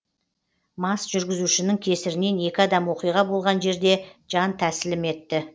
мас жүргізушінің кесірінен екі адам оқиға болған жерде жан тәсілім етті